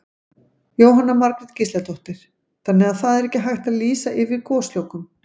Jóhanna Margrét Gísladóttir: Þannig að það er ekki hægt að lýsa yfir goslokum?